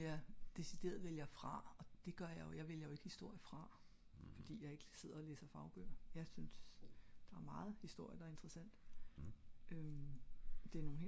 som jeg decideret vælger fra og det gør jeg jeg vælger ik historie fra fordi jeg ikke sidder og læser fagbøger jeg synes der er meget historie der er interessant